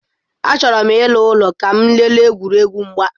Achọrọ m ịla n'ụlọ ka m lelee egwuregwu mgba.